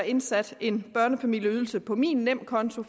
indsat en børnefamilieydelse på min nemkonto